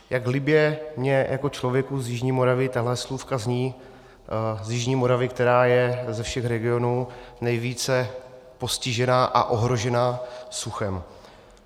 Jak libě mně jako člověku z jižní Moravy tahle slůvka zní, z jižní Moravy, která je ze všech regionů nejvíce postižená a ohrožená suchem.